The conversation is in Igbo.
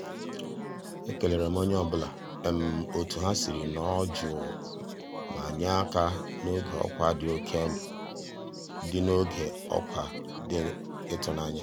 e kéléré m ónyé ọ́ bụ́là um ótú há siri um nọ̀rọ́ jụ́ụ́ má nyéré àká n'ògé ọ́kwá dị́ n'ògé ọ́kwá dị́ ị́tụ́nányá.